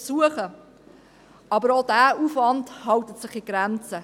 Doch auch dieser Aufwand hält sich in Grenzen.